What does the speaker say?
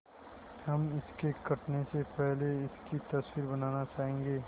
हम इसके कटने से पहले इसकी तस्वीर बनाना चाहेंगे